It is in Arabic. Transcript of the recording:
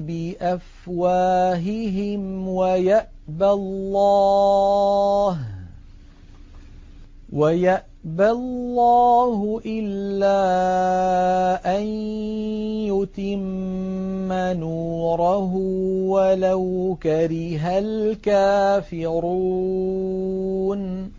بِأَفْوَاهِهِمْ وَيَأْبَى اللَّهُ إِلَّا أَن يُتِمَّ نُورَهُ وَلَوْ كَرِهَ الْكَافِرُونَ